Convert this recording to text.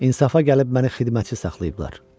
İnsafa gəlib məni xidmətçi saxlayıblar.